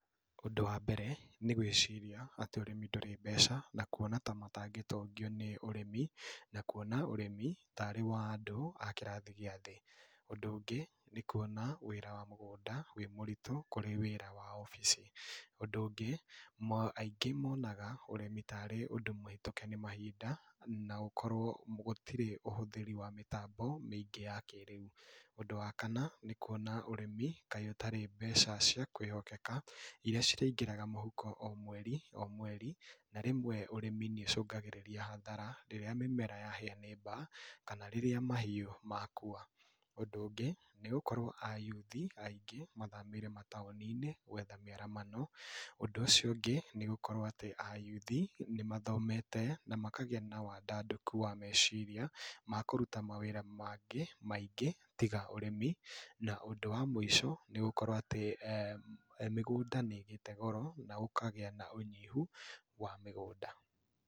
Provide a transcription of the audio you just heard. Ũndũ wa mbere, nĩ gwĩciria atĩ ũrĩmi ndũrĩ mbeca na kuona ta matangĩtongio nĩ ũrĩmi, na kuona ũrĩmi tarĩ wa andũ a kĩrathi gia thĩĩ. Ũndũ ũngĩ nĩ kuona wĩra wa mũgũnda wĩ mũritũ kũrĩ wĩra wa obici. Ũndũ ũngĩ, aingĩ monaga ũrĩmi tarĩ ũndũ mũhetũke nĩ mahinda na gũkorwo gũtirĩ na ũhũthĩri wa mĩtambo mĩingi ya kĩrĩu. Ũndũ wa kana, nĩ kuona ũrĩmi kaĩ ũtarĩ mbeca cia kwĩhokeka iria cirĩingĩraga mũhuko o mweri o mweri na rĩmwe ũrĩmi nĩ ũcũngagĩrĩria hathara rĩrĩa mĩmera yahĩa nĩ baa kana rĩrĩa mahiũ makua. Undũ ũngĩ, nĩ gũkorwo ayuthi aingĩ mathamĩire mataũni-inĩ gwetha mĩaramano. Ũndũ ũcio ũngĩ, nĩ gũkorwo ati a yuthi nĩ mathomete na makagĩa na wadandũku wa meciria ma kũrũta mawĩra mangĩ maingĩ tiga ũrĩmi, na ũndũ wa mũico nĩ gũkorwo atĩ mĩgũnda nĩ ĩgĩte goro na gũkagĩa na ũnyihu wa mĩgũnda.